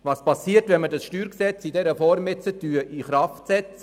Was geschieht, wenn wir das StG in dieser Form in Kraft setzen?